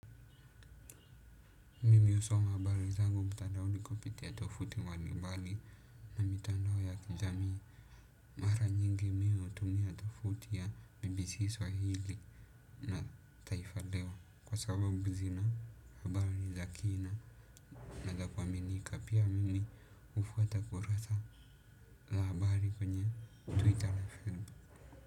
Miusoma habari zangu mtadaoni kupitia tofuti wani mbali na mitandao ya kijamii mara nyingi mi utumia tofuti ya BBC Swahili na taifa leo kwa sababu zina habari za kina na za kuaminika pia mimi hufuata kurasa la habari kwenye Twitter.